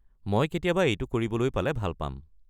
মই কেতিয়াবা এইটো কৰিবলৈ পালে ভাল পাম।